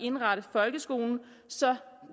indrette folkeskolen så